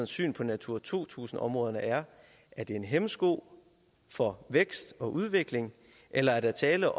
syn på natura to tusind områderne er er de en hæmsko for vækst og udvikling eller er der tale